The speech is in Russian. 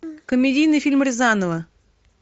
комедийный фильм рязанова